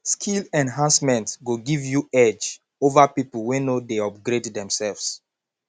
skill enhancement go give you edge over people wey no dey upgrade themselves